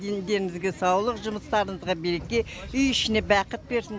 дендеріңізге саулық жұмыстарыңызға береке үй ішіне бақыт берсін